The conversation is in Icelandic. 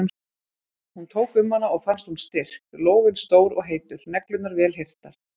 Hún tók um hana og fannst hún styrk, lófinn stór og heitur, neglurnar vel hirtar.